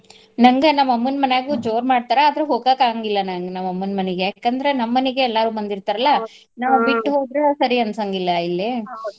ನಂಗ ನಮ್ ಅಮ್ಮನ್ ಮಾನ್ಯಾಗೂ ಜೋರ್ ಮಾಡ್ತಾರ ಆದ್ರ ಹೋಗಾಕ್ ಆಗಂಗಿಲ ನನಗ್ ನಮ್ ಅಮ್ಮನ್ ಮನಿಗೆ ಯಾಕಂದ್ರ ನಮ್ ಮನಿಗೆ ಎಲ್ಲಾರೂ ಬಂದಿರ್ತಾರಲ್ಲ ನಾವ್ ಬಿಟ್ಟ ಹೋದ್ರ ಸರಿ ಅನ್ಸಂಗಿಲ್ಲ ಇಲ್ಲೆ.